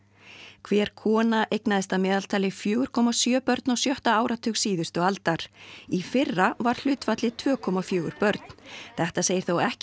hver kona eignaðist að meðaltali fjögur komma sjö börn á sjötta áratug síðustu aldar í fyrra var hlutfallið tveir komma fjögur börn þetta segir þó ekki